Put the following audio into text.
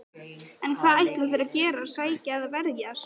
En hvað ætla þeir að gera, sækja eða verjast?